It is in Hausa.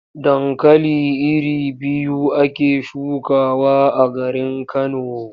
Dankali iri biyu ake shukawa a garin Kano.